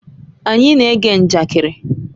Anyị na-ege njakịrị.